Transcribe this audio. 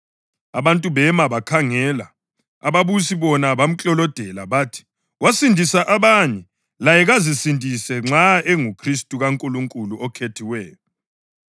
Abantu bema bakhangela, ababusi bona bamklolodela. Bathi, “Wasindisa abanye, laye kazisindise nxa enguKhristu kaNkulunkulu, oKhethiweyo.”